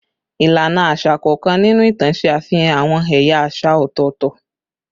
Ilana aṣa kọọkan ninu itan ṣe afihan awọn ẹya aṣa ọtọtọ